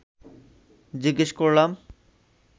জিজ্ঞেস করলাম